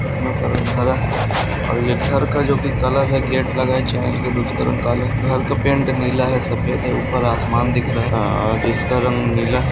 का रंग हरा है और इधर का जोकि कलर है गेट लगा है उसका रंग काला है घर का पेंट नीला है सफ़ेद है ऊपर आसमान दिख रहा है इसका रंग नीला है।